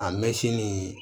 A mɛsini